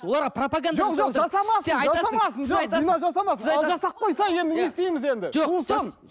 оларға пропаганда жасап отырсыз